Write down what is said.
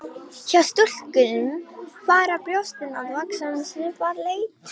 Hjá stúlkum fara brjóstin að vaxa um svipað leyti.